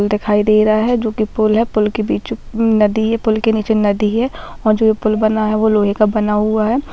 पुल दिखाई दे रहा है जो कि पुल है पुल के बीच नदी है पुल के नीचे नदी है और जो ये पुल बना है वो लोहे का बना हुआ है।